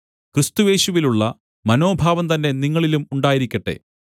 ക്രിസ്തുയേശുവിലുള്ള മനോഭാവം തന്നെ നിങ്ങളിലും ഉണ്ടായിരിക്കട്ടെ